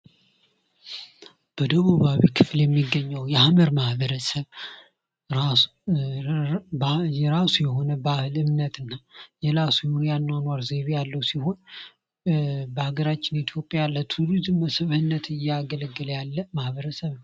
በደቡብ ሃገረ ክፍል የሚገኘው የሃመር ማህበረሰብ የራሱ የሆነ ባህል እምነትና የራሱ የሆነ የአኗኗር ዘይቤያለው ሲሆን በሀገራችን ኢትዮጵያ ለቱሪዝም መስህብነት እያገለገለ ያለ ማህበረሰብ ነው።